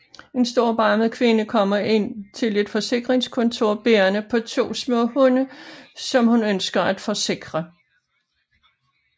En storbarmet kvinde kommer ind til et forsikringskontor bærende på to små hunde som hun ønsker at forsikre